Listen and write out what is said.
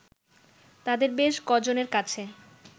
তাদের বেশ ক'জনের কাছে